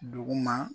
Duguma